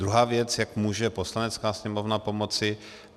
Druhá věc, jak může Poslanecká sněmovna pomoci.